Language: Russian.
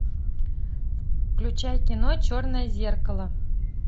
включай кино черное зеркало